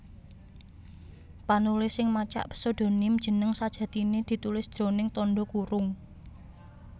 Panulis sing macak pséudonim jeneng sajatiné ditulis jroning tandha kurung